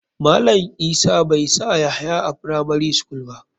Malam isa bai sa yahaya a firamari school ba.